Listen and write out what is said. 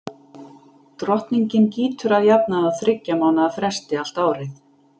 drottningin gýtur að jafnaði á þyggja mánaða fresti allt árið